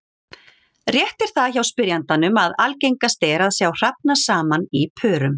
Rétt er það hjá spyrjandanum að algengast er að sjá hrafna saman í pörum.